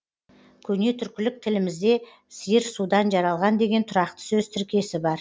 көне түркілік тілімізде сиыр судан жаралған деген тұрақты сөз тіркесі бар